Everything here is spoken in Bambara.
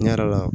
Ne yɛrɛ la